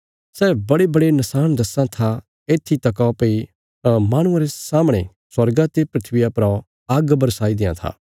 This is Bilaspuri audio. सै बडेबडे नशाण दस्सां था येत्थी तका भई माहणुआं रे सामणे स्वर्गा ते धरतिया परा आग्ग बरसाई देआं था